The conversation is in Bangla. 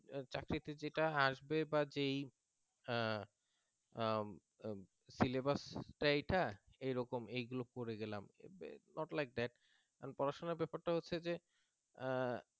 আহ চাকরিতে যেটা আসবে বা যেই syllabus টা এইটা এরকম এগুলো পড়ে গেলাম not like that পড়াশোনার ব্যাপারটা হচ্ছে যে